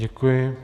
Děkuji.